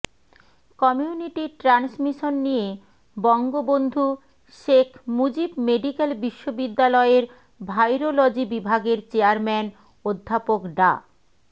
community transmission নিয়ে Bangabandhu Sheikh Mujib medical বিশ্ববিদ্যালয়ের virology বিভাগের চেয়ারম্যান অধ্যাপক ডা